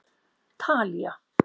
Talía